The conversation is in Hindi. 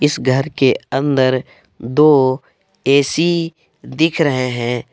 इस घर के अंदर दो ए_सी दिख रहे हैं।